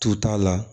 Tu t'a la